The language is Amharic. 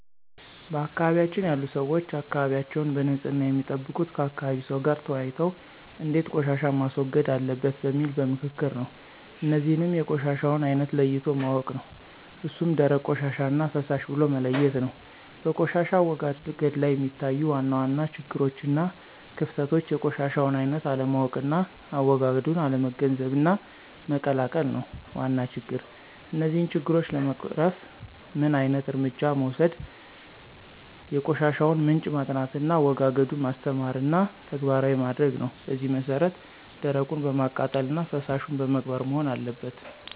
በአካባቢያችን ያሉ ሰዎች አካባቢያቸዉን በንፅህና የሚጠብቁት ከአካባቢ ሰው ጋር ተወያይተው እንዴት ቆሻሻን ማስወገድ አለበት በሚል በምክክር ነው። እነዚህንም የቆሻሻውን አይነት ለይቶ ማወቅ ነው እሱም ደረቅ ቆሻሻና ፈሳሽ ብሎ መለየት ነው። በቆሻሻ አወጋገድ ላይ የሚታዩ ዋና ዋና ችግሮችና ክፍተቶች የቆሻሻውን አይነት አለማወቅና አዎጋገዱን አለመገንዘብና መቀላቀል ነው ዋና ችግር። እነዚህን ችግሮች ለመቅረፍ ምን ዓይነት እርምጃ መወሰድ የቆሻሻውን ምንጭ ማጥናትና አዎጋገዱን ማስተማርና ተግባራዊ ማድረግ ነው በዚህ መሰረት ደረቁን በማቃጠልና ፈሳሹን በመቅበር መሆን አለበት።